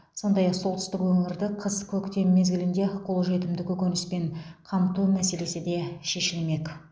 сондай ақ солтүстік өңірді қыс көктем мезгілінде қолжетімді көкөніспен қамту мәселесі де шешілмек